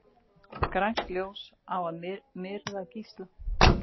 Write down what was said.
Grænt ljós á að myrða gísla